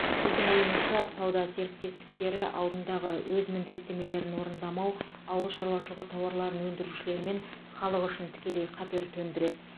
біздің ойымызша сауда серіктестіктері алдындағы өз міндеттемелерін орындамау ауыл шаруашылығы тауарларын өндірушілер мен халық үшін тікелей қатер төндіреді